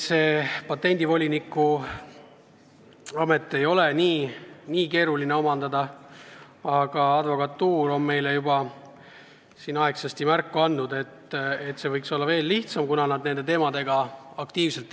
Patendivoliniku ametit ei ole nii keeruline omandada, aga advokatuur on meile juba aegsasti märku andnud, et see võiks olla veel lihtsam, kuna nad tegelevad nende teemadega iga päev aktiivselt.